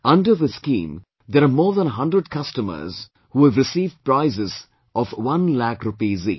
Under this scheme, there are more than a hundred customers who have received prizes of one lakh rupees each